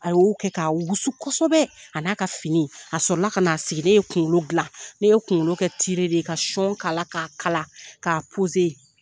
A y'o kɛ k'a wusu kosɛbɛ a n'a ka fini a sɔrƆ ka n'a sigi ne ye kunkolo dila ne ye kunkolo kɛ de ye ka k'ala k'a kalan k'a